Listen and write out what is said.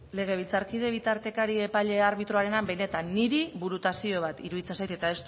legebiltzarkide bitartekari epaile arbitroarena benetan niri burutazio bat iruditzen zait eta